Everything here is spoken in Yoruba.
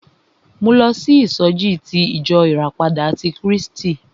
Mo lọ sí ìsọjí ti ìjọ ìràpadà ti Krístì.